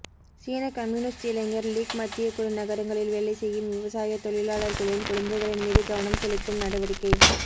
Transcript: சீனக் communist இளைஞர் league மத்தியக்குழு நகரங்களில் வேலை செய்யும் விவசாயத் தொழிலாளர்களின் குழந்தைகளின் மீது கவனம் செலுத்தும் நடவடிக்கை